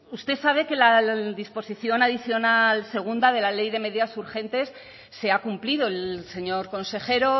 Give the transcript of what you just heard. usted sabe que la disposición adicional segunda de la ley de medidas urgentes se ha cumplido el señor consejero